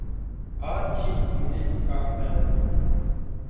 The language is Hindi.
आछि मुझे ज़ुकाम है